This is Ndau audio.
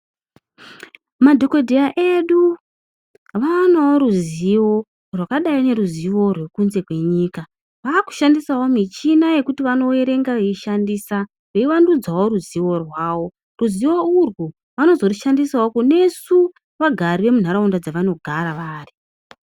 Madhokodheya edu vanooruzivo rwakadai noruzivo rokunze kwenyika vakushandisawo michina yekuti vanoverenga veishanndisa veivandudzawo ruzivo rwawo, ruzivo urwu vanozorishandisawo kunesu vagari vemunharaunda dzavanogara vari.